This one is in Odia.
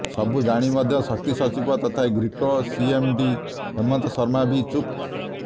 ସବୁ ଜାଣି ମଧ୍ୟ ଶକ୍ତି ସଚିବ ତଥା ଗ୍ରୀଡକୋ ସିଏମଡି ହେମନ୍ତ ଶର୍ମା ବି ଚୁପ୍